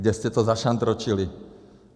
Kde jste to zašantročili.